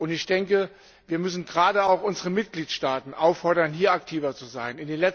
Ich denke, wir müssen gerade auch unsere Mitgliedstaaten auffordern, hier aktiver zu sein.